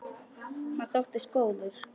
Hann þóttist góður.